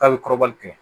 K'a bɛ kɔrɔbali kɛ